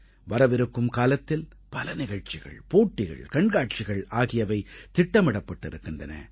வரவிருக்கும் காலத்தில் பல நிகழ்ச்சிகள் போட்டிகள் கண்காட்சிகள் ஆகியவை திட்டமிடப்பட்டிருக்கின்றன